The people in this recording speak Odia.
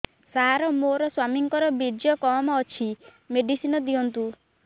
ସାର ମୋର ସ୍ୱାମୀଙ୍କର ବୀର୍ଯ୍ୟ କମ ଅଛି ମେଡିସିନ ଦିଅନ୍ତୁ